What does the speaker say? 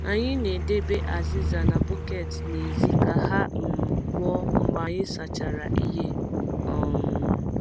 Anyị na-edebe azịza na bọket n’èzí ka ha um kpoo mgbe anyị sachara ihe. um